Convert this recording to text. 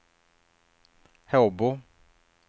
Håbo